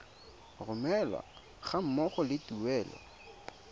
romelwa ga mmogo le tuelo